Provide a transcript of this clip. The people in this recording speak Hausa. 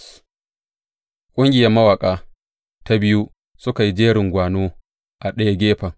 Ƙungiyar mawaƙa ta biyu suka yi jerin gwano a ɗaya gefen.